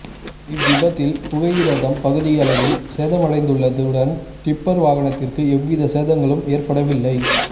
இவ் விபத்தில் புகையிரதம் பகுதியளவில் சேதமடைந்துள்ளதுடன் டிப்பர் வாகனத்திற்கு எவ்வித சேதங்களும் ஏற்படவில்லை